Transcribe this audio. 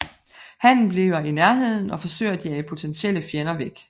Hannen bliver i nærheden og forsøger at jage potentielle fjender væk